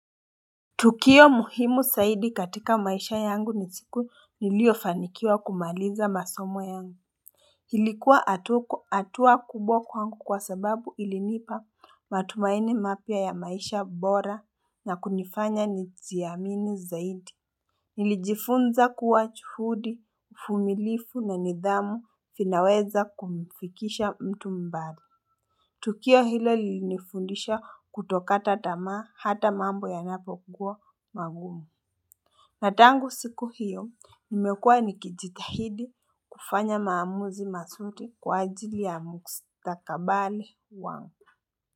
Tukio muhimu zaidi katika maisha yangu ni siku niliofanikiwa kumaliza masomo yangu Halikuwa hatua kubwa kubwa kwangu kwa sababu ilinipa matumaini mapia ya maisha bora na kunifanya nijiamini zaidi Nilijifunza kuwa juhudi, uvumilifu na nidhamu vinaweza kumfikisha mtu mbali Tukio hilo lilinifundisha kutokata tamaa hata mambo ya napo kugua magumu. Na tangu siku hiyo nimekua nikijitahidi kufanya maamuzi mazuri kwa ajili ya mkustakabali wangu.